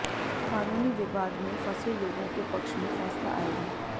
कानूनी विवाद में फंसे लोगों के पक्ष में फैसला आयेगा